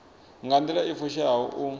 nga nḓila i fushaho u